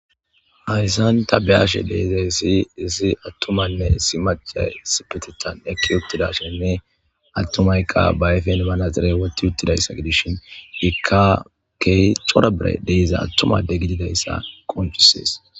ayssanta beyashe deizay isi izi attumanne isi maca sipetetan ekki uttida shenne attumayka baayfen banazire wotti uttidayssa gidishin ikka key corabre deiza attumade gididayssa qonchisees